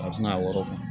A bɛ se ka wɔɔrɔ bon